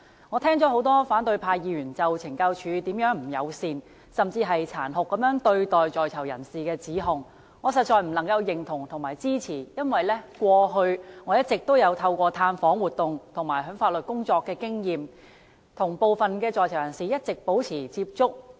我聽了多位反對派議員就懲教署如何不友善，甚至殘酷對待在囚人士的指控，我實在不能認同及支持，因為過去我一直透過探訪活動和法律工作，與部分在囚人士保持接觸。